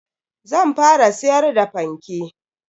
Zan fara siyar da fanke.